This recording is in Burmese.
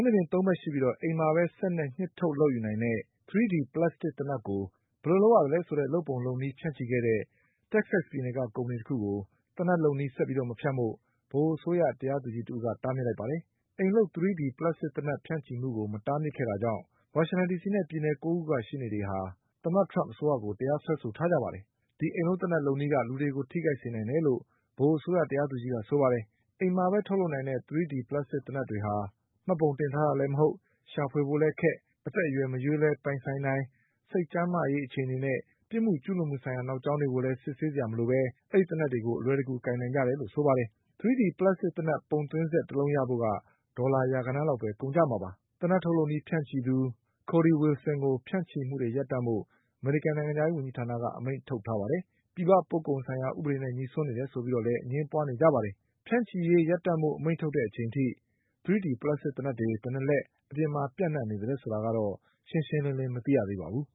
နှာပြင်သုံးဘက်ရှိပြီး အိမ်မှာပဲ စက်နဲ့ ပုံသွင်းထုတ်လုပ်ယူနိုင်တဲ့ 3D ပလပ်စတစ်သေနတ်ကို ဘယ်လိုလုပ်ရသလဲဆိုတဲ့ လုပ်ပုံလုပ်နည်းဖြန့်ချိခဲ့တဲ့ တက္ကဆက်ပြည်နယ်ကကုမ္ပဏီတခုကို သေနတ်လုပ်နည်း ဆက်ပြီးမဖြန့်ဖို့ ဗဟိုအစိုးရတရားသူကြီးတဦးက တားမြစ်လိုက်ပါတယ်။ အိမ်လုပ်3D ပလပ်စတစ်သေနတ်ကို ဖြန့်ချိမှုကို တားမြစ်ခဲ့တာကြောင့် ဝါရှင်တန်ဒီစီနဲ့ ပြည်နယ်၉ခုကရှေ့နေချုပ်တွေက သမ္မတ ထရမ့်အစိုးရကို တရားစွဲဆိုထားကြပါတယ်။ အိမ်လုပ်သေနတ် လုပ်နည်းက လူတွေကိုထိခိုက်စေနိုင်တယ်လို့ ဗဟိုအစိုးရတရားသူကြီးကဆိုပါတယ်။ အိမ်မှာပဲထုတ်လုပ်နိုင်တဲ့ 3D ပလပ်စတစ်သေနတ်တွေဟာ မှတ်ပုံတင်ထားတာလည်းမဟုတ်၊ ရှာဖွေဖို့လည်းခက်၊ အသက်အရွယ်မရွေးလည်း ပိုင်ဆိုင်နိုင်၊ စိတ်ကျန်းမာရေးအခြေအနေနဲ့ ပစ်မှုကျူးလွန်မှုဆိုင်ရာ နောက်ကြောင်းကိုလည်း စစ်ဆေးစရာမလိုပဲ အဲဒီသေနတ် တွေကို အလွယ်တကူကိုင်နိုင်ကြတယ်လို့ဆိုပါတယ်။ 3D ပလပ်စတစ်သေနတ် ပုံသွင်းစက် တလုံးရဖို့ ဒေါ်လာရာဂဏန်း လောက်ပဲကုန်ကျမှာပါ။ သေနတ်ထုတ်လုပ်နည်းဖြန့်ချိသူ Cody Wilson ကို ဖြန့်ချိမှုတွေရပ်တန့်ဖို့ အမေရိကန်နိုင်ငံခြားရေး ဝန်ကြီးဌာနက အမိန့်ထုတ်ထားပါတယ်။ ပြည်ပပို့ကုန်ဆိုင်ရာဥပဒေနဲ့ညိစွန်းနေတယ်ဆိုပြီးလည်း အငြင်းပွါးနေကြပါ တယ်။ ဖြန့်ချိရေးရပ်တန့်ဖို့အမိန့်ထုတ်တဲ့အချိန်အထိ 3D ပလပ်စတစ်သေနတ်တွေ ဘယ်နှစ်လက် အပြင်မှာပြန့်နေသလဲ ဆိုတာရှင်းရှင်းလင်းလင်းမသိရသေးပါဘူး